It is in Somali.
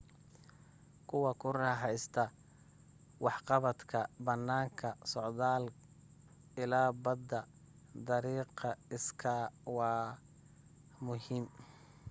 kuwa ku raaxaysta waxqabadka banaanka, socdaal ila badda dariiqa iskay waa muhim